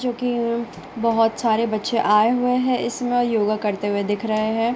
जो की यें बोहोत सारे बच्चे आए हुए है इसमें योगा करते हुए दिख रहे है।